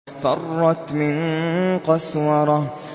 فَرَّتْ مِن قَسْوَرَةٍ